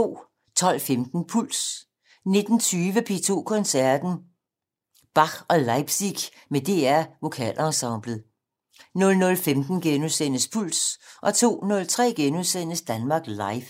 12:15: Puls 19:20: P2 Koncerten - Bach & Leipzig med DR Vokalensemblet 00:15: Puls * 02:03: Danmark Live *